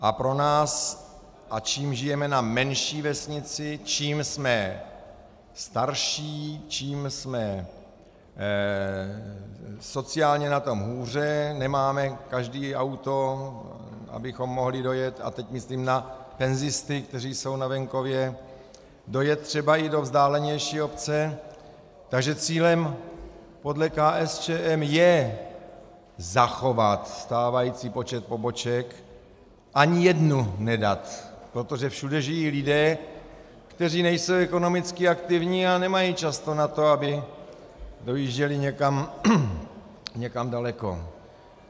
A pro nás - a čím žijeme na menší vesnici, čím jsme starší, čím jsme sociálně na tom hůře, nemáme každý auto, abychom mohli dojet, a teď myslím na penzisty, kteří jsou na venkově, dojet třeba i do vzdálenější obce, takže cílem podle KSČM je zachovat stávající počet poboček, ani jednu nedat, protože všude žijí lidé, kteří nejsou ekonomicky aktivní a nemají často na to, aby dojížděli někam daleko.